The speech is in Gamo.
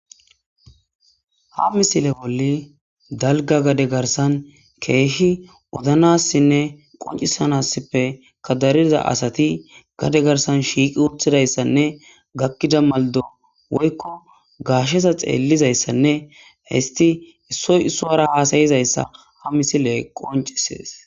ha misile bolli dalga gade garsan keehi odanassinne qoncisanassippe kadariza asati gade garsan shiiqi wuthidayssanne gakkida maldo woykko gaashesa xeellizayssanne histi issoy issowara haasayizayssa ha misile qoncisees